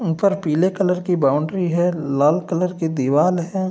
ऊपर पीले कलर की बॉउंड्री है लाल कलर की दिवाल है।